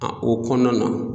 o kɔnɔna na.